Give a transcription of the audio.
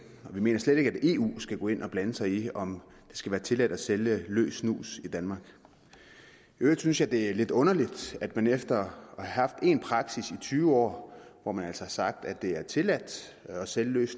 og vi mener slet ikke at eu skal gå ind og blande sig i om det skal være tilladt at sælge løs snus i danmark i øvrigt synes jeg at det er lidt underligt at man efter at have haft en praksis i tyve år hvor man altså har sagt at det er tilladt at sælge løs